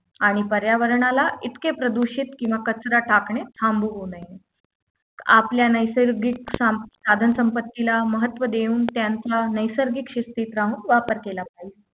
आणि पर्यावरणाला इतके प्रदूषित किंवा कचरा टाकणे थांबू नये आपल्या नैसर्गिक साम साधन संपत्ती महत्त्व देऊन त्यांचा नैसर्गिक शिस्तीत राहून वापर केला पाहिजे